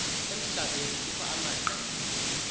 emhlabeni kukho amaqela